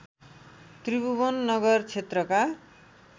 त्रिभुवन नगर क्षेत्रका